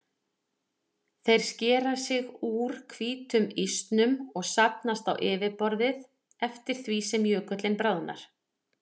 Þeir skera sig úr hvítum ísnum og safnast á yfirborðið eftir því sem jökullinn bráðnar.